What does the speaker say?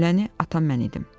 Gülləni atan mən idim.